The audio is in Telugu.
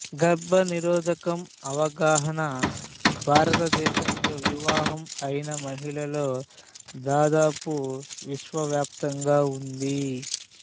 గర్భనిరోధకం అవగాహన భారతదేశంలో వివాహం అయిన మహిళల్లో దాదాపు విశ్వవ్యాప్తంగా ఉంది